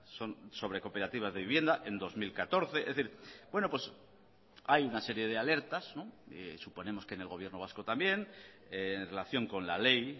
son sobre cooperativas de vivienda en dos mil catorce es decir hay una serie de alertas suponemos que en el gobierno vasco también en relación con la ley